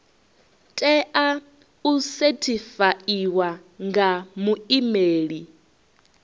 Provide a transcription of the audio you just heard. tea u sethifaiwa nga muimeli